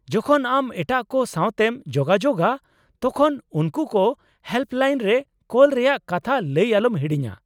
-ᱡᱚᱠᱷᱚᱱ ᱟᱢ ᱮᱴᱟᱜ ᱠᱚ ᱥᱟᱶᱛᱮᱢ ᱡᱳᱜᱟᱡᱳᱜᱼᱟ , ᱛᱚᱠᱷᱚᱱ ᱩᱱᱠᱩ ᱠᱚ ᱦᱮᱞᱯᱞᱟᱤᱱ ᱨᱮ ᱠᱚᱞ ᱨᱮᱭᱟᱜ ᱠᱟᱛᱷᱟ ᱞᱟᱹᱭ ᱟᱞᱚᱢ ᱦᱤᱲᱤᱧᱟ ᱾